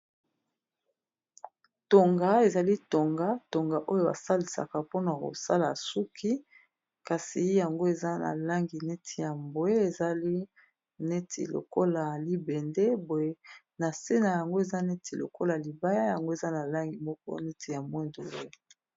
Tonga ezali tonga tonga oyo basalisaka mpona kosala suki kasi yango eza na langi neti ya mbwe ezali neti lokola libende boye na se na yango eza neti lokola libaya yango eza na langi moko neti ya mwe ndo.